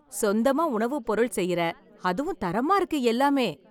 சொந்தமா உணவுப் பொருள் செய்யற, அதுவும் தரமா இருக்கு எல்லாமே.